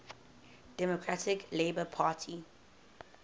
democratic labour party